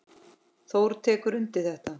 Þór tekur undir þetta.